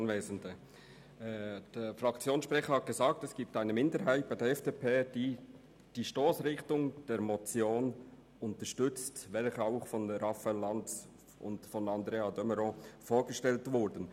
Der Fraktionssprecher hat es gesagt, es gebe eine Minderheit der FDP, die die Stossrichtung der Motion unterstützt, welche auch von Raphael Lanz und Andrea de Meuron vorgestellt wurde.